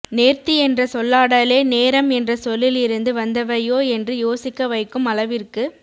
நேர்த்தி என்ற சொல்லாடலே நேரம் என்ற சொல்லில் இருந்து வந்தவையோ என்று யோசிக்க வைக்கும் அளவிற்கு